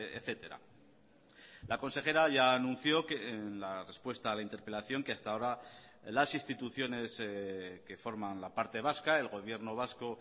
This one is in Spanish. etcétera la consejera ya anunció que en la respuesta a la interpelación que hasta ahora las instituciones que forman la parte vasca el gobierno vasco